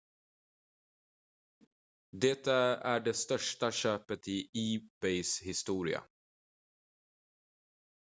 det är det största köpet i ebays historia